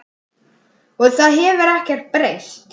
Og það hefur ekkert breyst.